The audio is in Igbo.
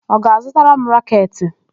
Ọ ga-azụtara m raketị?